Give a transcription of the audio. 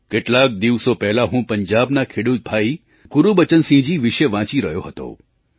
કેટલાક દિવસો પહેલાં હું પંજાબના ખેડૂત ભાઈ ગુરુબચનસિંહજી વિશે વાંચી રહ્યો હતો